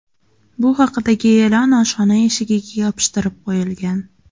Bu haqidagi e’lon oshxona eshigiga yopishtirib qo‘yilgan.